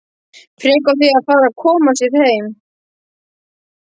Frekar á því að fara að koma sér heim.